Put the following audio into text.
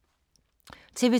TV 2